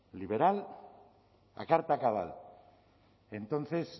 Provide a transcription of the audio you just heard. liberal a carta cabal entonces